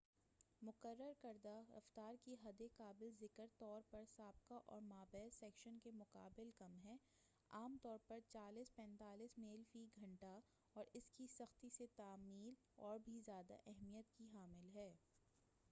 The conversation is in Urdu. مقرر کردہ رفتار کی حد قابل ذکر طور پرسابقہ اور مابعد سیکشن کے مقابلہ کم ہے-عام طور پر 35-40 میل فی گھنٹہ 56-64 کیلو میٹر/گھنٹہ- اور اس کی سختی سے تعمیل اور بھی زیادہ اہمیت کی حامل ہے۔